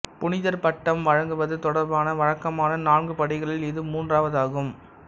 புனிதர் பட்டம் வழங்குவது தொடர்பான வழக்கமான நான்கு படிகளில் இது மூன்றாவதாகும்